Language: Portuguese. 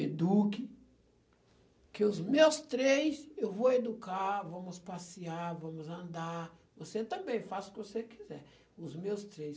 eduque, que os meus três eu vou educar, vamos passear, vamos andar, você também, faça o que você quiser, os meus três.